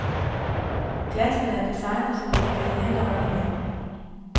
Glassene er designet, så de kan glide hen over hinanden.